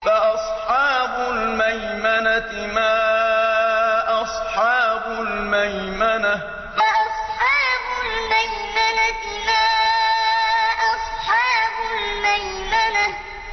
فَأَصْحَابُ الْمَيْمَنَةِ مَا أَصْحَابُ الْمَيْمَنَةِ فَأَصْحَابُ الْمَيْمَنَةِ مَا أَصْحَابُ الْمَيْمَنَةِ